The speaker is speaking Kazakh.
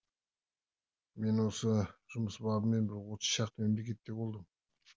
мен осы жұмыс бабымен бір отыз шақты мемлекетте болдым